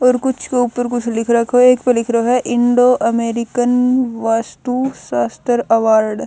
और कुछ क ऊपर कुछ लिख रखो ह एक प लिख रयो ह Indo American vastu shastra award.